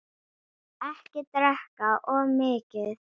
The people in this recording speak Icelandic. Ekki drekka of mikið.